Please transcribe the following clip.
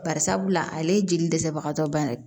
Bari sabula ale ye jeli dɛsɛbagatɔ bannen ye